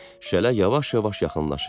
Şələ yavaş-yavaş yaxınlaşırdı.